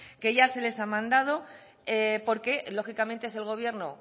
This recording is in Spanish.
que ya se les han mandado porque lógicamente es el gobierno